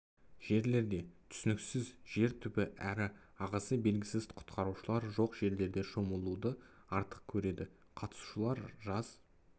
жерлерде түсініксіз жер түбі әрі ағысы белгісіз құтқарушылар жоқ жерлерде шомылуды артық көреді қатысушылар жаз